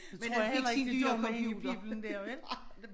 Det tror jeg heller ikke det gjorde med hende piblen dér vel